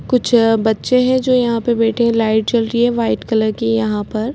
कुछ बच्चे हैं जो यहाँ पर बैठे हैं लाइट जल रही हैं वाइट कलर कि यहाँ पर--